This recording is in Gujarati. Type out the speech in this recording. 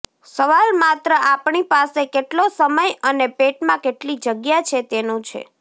સવાલ માત્ર આપણી પાસે કેટલો સમય અને પેટમાં કેટલી જગ્યા છે તેનો છે